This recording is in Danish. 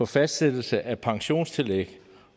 fastsættelse af pensionstillæg